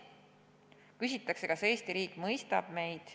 Küsitakse, kas Eesti riik mõistab meid.